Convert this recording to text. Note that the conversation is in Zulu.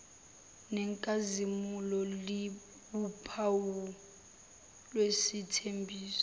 nenkazimulo liwuphawu lwesithembiso